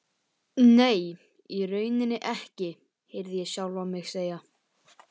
Nei, í rauninni ekki, heyrði ég sjálfan mig segja.